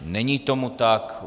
Není tomu tak.